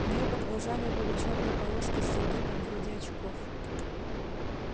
у неё под глазами были чёрные полоски с загибом вроде очков